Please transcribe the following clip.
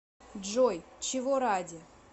джой чего ради